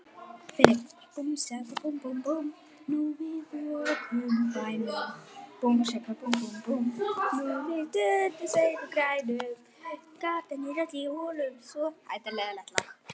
Við smíðum báta.